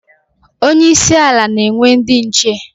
Onye isi ala na-enwe ndi nche